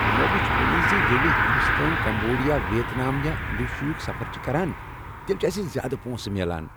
مےٚ وُچھ ؤنی زِ ییٚلہِ ہندوستٲنۍ، کمبوڈیا، ویتنام یا انڈونیشیا ہک سفر چھ کران تیٚلہِ چِھ اسہِ زیادٕ پۄنٛسہٕ میلان۔